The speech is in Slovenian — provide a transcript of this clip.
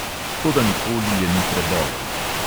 Toda nikoli je ni prebolel.